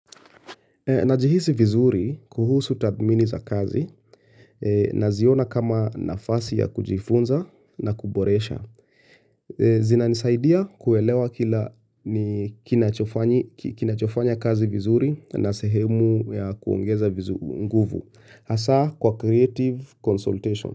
Najihisi vizuri kuhusu tathmini za kazi naziona kama nafasi ya kujifunza na kuboresha. Zinanisaidia kuelewa kila kinachofanya kazi vizuri na sehemu ya kuongeza nguvu. Hasa kwa creative consultation.